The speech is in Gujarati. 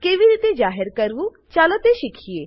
કેવી રીતે જાહેર કરવું ચાલો તે શીખીએ